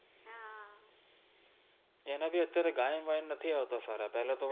એને બિ અત્ય઼આરે ગાયન વાયન આવ્તા સારા પેહલા તો